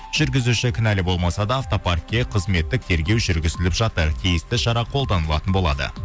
жүргізуші кінәлі болмаса да автопаркке қызметтік тергеу жүргізіліп жатыр тиісті шара қолданылатын болады